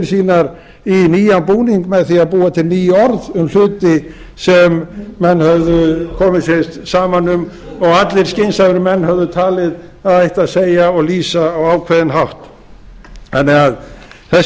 sínar í nýjan búning með því að búa til ný orð um hluti sem menn höfðu komið sér saman um og allir skynsamir menn höfðu talið að ætti að segja og lýsa á ákveðinn hátt þannig að þessi